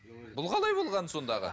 бұл қалай болғаны сонда аға